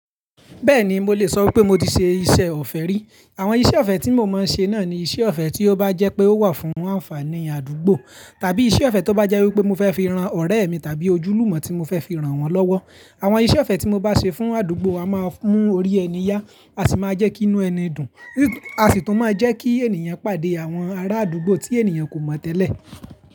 Bẹ́ẹ̀ni mo lè sọ pé mo ti ṣe iṣẹ́ ọ̀fẹ́ rí. Àwọn iṣẹ́ ọ̀fẹ́ tí mo máa ń ṣe náà ni iṣẹ́ ọ̀fẹ́ tí ó bá jẹ́ pé ó wà fún ànfàní àdúgbò, tàbí iṣẹ́ ọ̀fẹ́ tó bá jẹ́ wípé mo fẹ́ fi ran ọ̀rẹ́ mi, tàbí ojúlùmọ̀ tí mo fẹ́ fi ran wọn lọ́wọ́. Àwọn iṣẹ́ ọ̀fẹ́ tí mo bá ṣe fún àdúgbò a máa mú orí ẹni yá, a sì máa jẹ́ kí inú ẹni dùn, a sì tún máa jẹ́ kí ènìyàn pàdé àwọn ará àdúgbò tí ènìyàn kò mọ tẹ́lẹ̀.